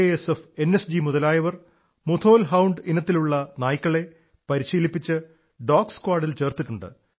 F NSG മുതലായവർ Mudhol hound ഇനത്തിലുള്ള നായ്ക്കളെ പരിശീലിപ്പിച്ച് ഡോഗ് സ്ക്വാഡിൽ ചേർത്തിട്ടുണ്ട്